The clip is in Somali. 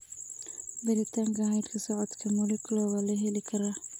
Baaritaanka hidda-socodka molecular waa la heli karaa.